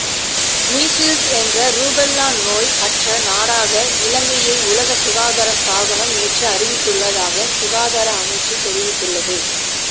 measles என்ற rubella நோய் அற்ற நாடாக இலங்கையை உலக சுகாதார ஸ்தாபனம் நேற்று அறிவித்துள்ளதாக சுகாதார அமைச்சு தெரிவித்துள்ளது